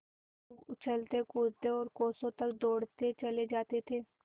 खूब उछलतेकूदते और कोसों तक दौड़ते चले जाते थे